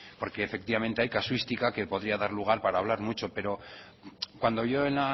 porque efectivamente hay casuística que podría dar lugar para hablar mucho pero cuando yo en